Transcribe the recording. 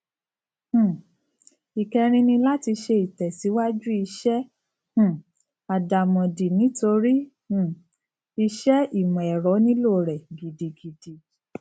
um ìkẹrin ni láti ṣe ìtẹsíwájú iṣẹ um àdàmòdì nítorí um iṣẹ ìmọ ẹrọ nílò rẹ gidigidi